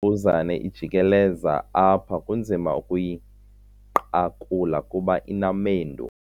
mbuzane ijikeleza apha kunzima ukuyinqakula kuba inamendu.